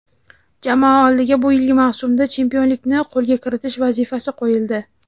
jamoa oldiga bu yilgi mavsumda chempionlikni qo‘lga kiritish vazifasi qo‘yildi.